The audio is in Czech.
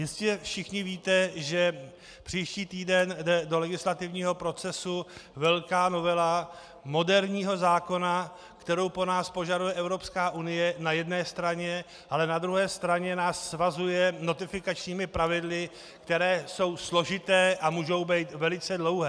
Jistě všichni víte, že příští týden jde do legislativního procesu velká novela moderního zákona, kterou po nás požaduje Evropská unie na jedné straně, ale na druhé straně nás svazuje notifikačními pravidly, která jsou složitá a mohou být velice dlouhá.